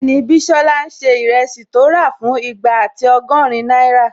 Bẹ́ẹ̀ni, Bísọ́lá n ṣe ìrẹsì tó rà fún igba ati ọgọ́rin náírà